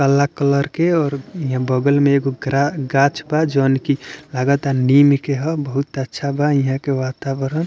काला कलर के और इहाँ बगल में एगो ग्रा गाछ बा जोवन की लागता की नीम के ह बहुत अच्छा बा इहाँ के वातावरण।